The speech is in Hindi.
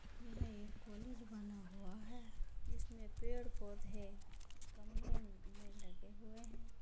यह एक कॉलेज बना हुआ है जिसमें पेड़-पौधे गमले में लगे हुए हैं।